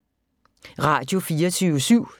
Radio24syv